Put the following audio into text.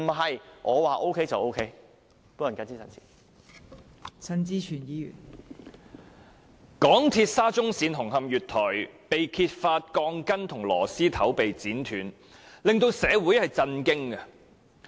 香港鐵路有限公司沙中線紅磡站月台被揭發鋼筋和螺絲頭被剪斷事件，令社會震驚。